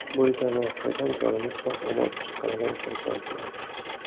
Bo‘lgan voqeadan jonimiz sog‘-omon chiqqanidan xursandman.